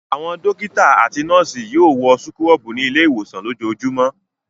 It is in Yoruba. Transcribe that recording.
Àwọn dọ́kítá àti àwọn nọ́ọ́sì yóò wọ súkúrọ́bù ní ilé-ìwòsàn lójoojúmọ́.